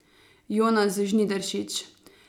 Jonas Žnidaršič.